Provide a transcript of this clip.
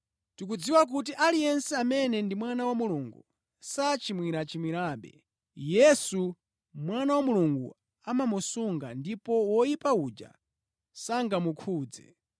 Tikudziwa kuti aliyense amene ndi mwana wa Mulungu sachimwirachimwirabe. Yesu, Mwana wa Mulungu, amamusunga ndipo woyipa uja sangamukhudze.